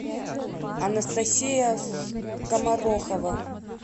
анастасия скоморохова